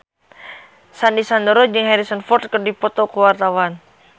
Sandy Sandoro jeung Harrison Ford keur dipoto ku wartawan